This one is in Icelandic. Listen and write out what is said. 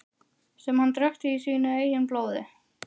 Sem hann drekkti í sínu eigin blóði.